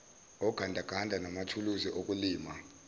ogandaganda manathuluzi okulima